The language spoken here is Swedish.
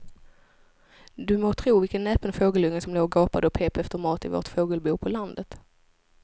Du må tro vilken näpen fågelunge som låg och gapade och pep efter mat i vårt fågelbo på landet.